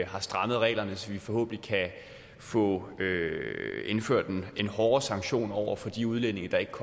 har strammet reglerne så vi forhåbentlig kan få indført en hårdere sanktion over for de udlændinge der ikke